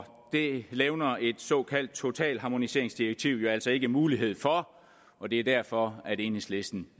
det levner et såkaldt totalharmoniseringsdirektiv jo altså ikke mulighed for og det er derfor enhedslisten